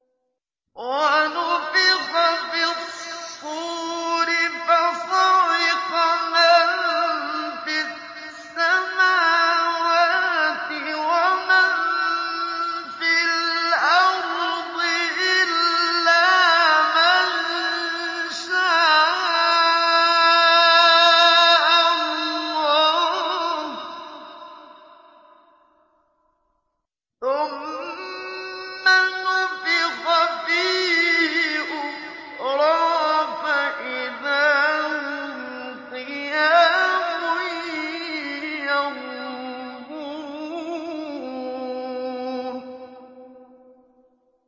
وَنُفِخَ فِي الصُّورِ فَصَعِقَ مَن فِي السَّمَاوَاتِ وَمَن فِي الْأَرْضِ إِلَّا مَن شَاءَ اللَّهُ ۖ ثُمَّ نُفِخَ فِيهِ أُخْرَىٰ فَإِذَا هُمْ قِيَامٌ يَنظُرُونَ